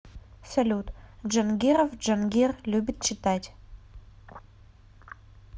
салют джангиров джангир любит читать